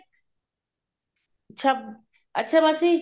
ਅੱਛ ਅੱਛਾ ਮਾਸੀ